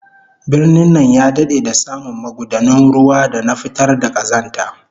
Birnin nan ya dade da samu magudanun ruwa da na fitar da kazanta